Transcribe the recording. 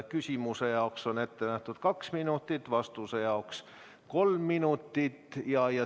Küsimuse jaoks on ette nähtud kaks minutit, vastuse jaoks kolm minutit.